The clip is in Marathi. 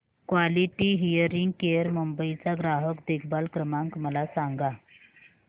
क्वालिटी हियरिंग केअर मुंबई चा ग्राहक देखभाल क्रमांक मला सांगा